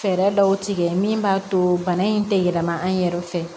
Fɛɛrɛ dɔw tigɛ min b'a to bana in tɛ yɛlɛma an yɛrɛ fɛ